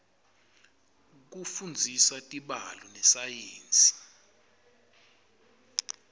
kufundzisa tibalo nesayensi